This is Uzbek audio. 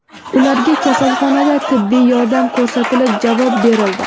Ularga kasalxonada tibbiy yordam ko‘rsatilib, javob berildi.